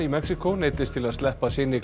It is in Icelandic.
í Mexíkó neyddist til að sleppa syni